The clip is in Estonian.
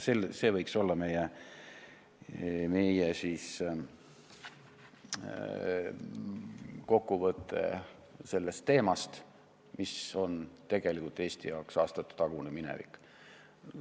See võiks olla meie kokkuvõte sellest teemast, mis on tegelikult Eesti jaoks aastatetagune minevik.